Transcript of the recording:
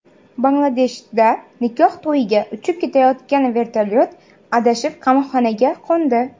Bangladeshda nikoh to‘yiga uchib ketayotgan vertolyot adashib qamoqxonaga qo‘ndi.